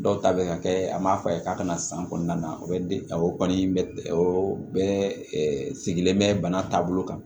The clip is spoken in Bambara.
Dɔw ta bɛ ka kɛ an m'a fɔ a ye k'a ka na san kɔnɔna na o bɛ de o kɔni bɛ o bɛɛ sigilen bɛ bana taabolo kan